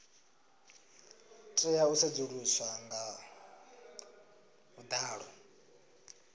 tea u sedzuluswa nga vhuḓalo